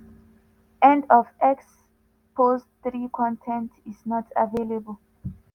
end of x post 3 con ten t is not available